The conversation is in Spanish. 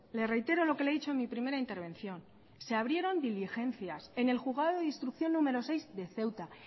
le reitero lo que le he dicho en mi primera intervención se abrieron diligencias en el juzgado de instrucción número seis de ceuta